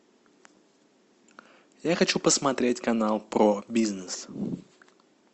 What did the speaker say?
я хочу посмотреть канал про бизнес